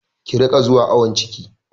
Ki riƙa zuwa awon ciki!